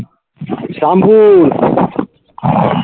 Shyampur